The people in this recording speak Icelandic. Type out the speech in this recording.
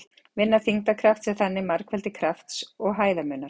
Vinna þyngdarkrafts er þannig margfeldi krafts og hæðarmunar.